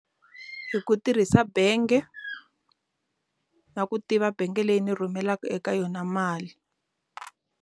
Hi ku tirhisa bengi na ku tiva bank leyi ndzi rhumela eka yona mali.